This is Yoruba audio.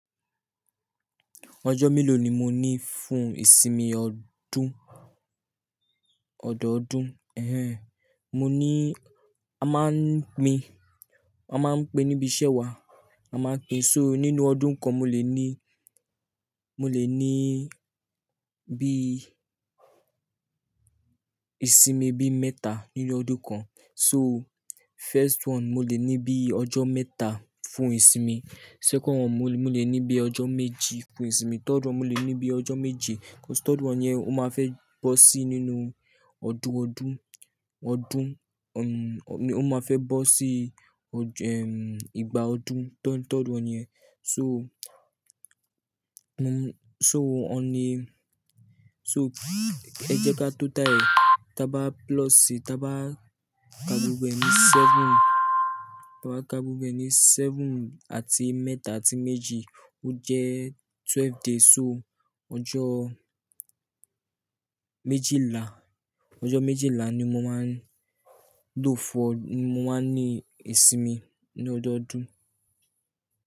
Ọjọ́ méló ni mo ní fún ìsinmi ọdún, ọ̀dọọdún? Mo ní, a máa ń pin, a máa ń pin níbi iṣẹ́ wa, a máa ń pin, so nínú ọdún kan mo lè ní, mo lè ní bí, ìsinmi bí mẹ́ta nínú ọdún kan. So first one mo lè ní bí ọjọ́ mẹ́ta fún ìsinmi, second one mo lè ní bí ọjọ́ méjì fún ìsinmi, third one mo lè ní bí ọjọ́ méjì. Third one yẹn ó máa fẹ́ bọ́ sí nínú ọdún, ọdún, ọdún, ó máa fẹ́ bọ́ sí, ìgbà ọdún third, third one yẹn. So, mo, so ọ̀ní, so ẹ jẹ́ ká total rẹ̀. Da bá ploosi, da bá kaa gbogbo e ní seven, da bá kaa gbogbo e ní seven àti mẹ́ta àti méjì ó jẹ́ twelve days. So ọjọ́ méjìlá, ọjọ́ méjìlá ni mo máa ń, lófo, ni mo máa ń ní ìsinmi ní ọ̀dọọdún.